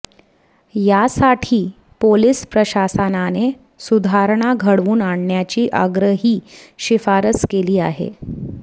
यासाठी पोलिस प्रशासनाने सुधारणा घडवून आणण्याची आग्रही शिफारस केली आहे